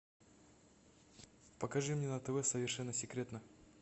покажи мне на тв совершенно секретно